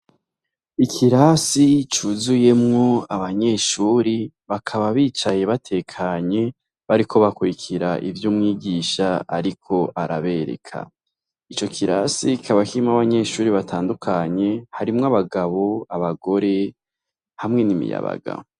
Ikirasi cuzuyemwo abanyeshuri, bakaba bicaye batekanye, bariko bakurikira ivy'umwigisha ariko arabereka. Ico kirasi, kikaba kirimwo abanyeshuri batandukanye, harimwo abagabo, abagore hamwe n'imiyabaga.